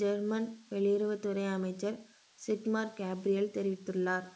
German வெளியுறவுத்துறை அமைச்சர் Sigmar Gabriel தெரிவித்துள்ளார்